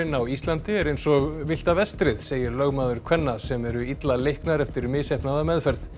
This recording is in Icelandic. á Íslandi er eins og villta vestrið segir lögmaður kvenna sem eru illa leiknar eftir misheppnaða meðferð